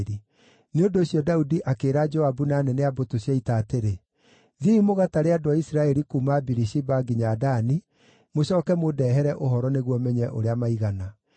Nĩ ũndũ ũcio Daudi akĩĩra Joabu na anene a mbũtũ cia ita atĩrĩ: “Thiĩi mũgatare andũ a Isiraeli kuuma Birishiba nginya Dani, mũcooke mũndehere ũhoro nĩguo menye ũrĩa maigana.”